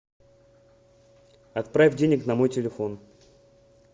отправь денег на мой телефон